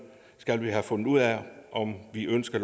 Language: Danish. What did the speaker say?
skal have fundet ud af om vi ønsker